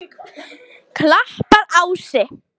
Klapparási